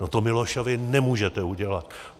No to Milošovi nemůžete udělat!